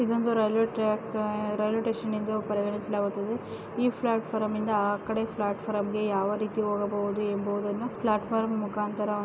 ಇದೊಂದು railway track railway station ಎಂದು ಪರಿಗಣಿಸಲಾಗುತ್ತದೆ ಈ ಪ್ಲಾಟ್ಫಾರಮ್ ಇಂದ ಆ ಕಡೆ ಪ್ಲಾಟ್ಫಾರಂಗೆ ಯಾವ ರೀತಿ ಹೋಗಬಹುದು ಎಂಬುವುದನ್ನು ಪ್ಲಾಟ್ಫಾರಂ ಮುಖಾಂತರ --